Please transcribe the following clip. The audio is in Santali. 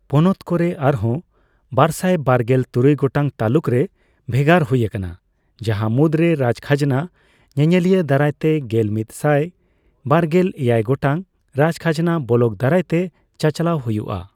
ᱯᱚᱱᱚᱛ ᱠᱚᱨᱮ ᱟᱨᱦᱚᱸ ᱵᱟᱨᱥᱟᱭ ᱵᱟᱨᱜᱮᱞ ᱛᱩᱨᱩᱭ ᱜᱚᱴᱟᱝ ᱛᱟᱞᱩᱠ ᱨᱮ ᱵᱷᱮᱜᱟᱨ ᱦᱩᱭ ᱟᱠᱟᱱᱟ, ᱡᱟᱦᱟᱸ ᱢᱩᱫᱽᱨᱮ ᱨᱟᱡᱠᱷᱟᱡᱱᱟ ᱧᱮᱧᱮᱞᱤᱭᱟᱹ ᱫᱟᱨᱟᱭ ᱛᱮ ᱜᱮᱞᱢᱤᱛ ᱥᱟᱭ ᱵᱟᱨᱜᱮᱞ ᱮᱭᱟᱭ ᱜᱚᱴᱟᱝ ᱨᱟᱡᱠᱷᱟᱡᱱᱟ ᱵᱚᱞᱚᱠ ᱫᱟᱨᱟᱭ ᱛᱮ ᱪᱟᱪᱟᱞᱟᱣ ᱦᱩᱭᱩᱜᱼᱟ ᱾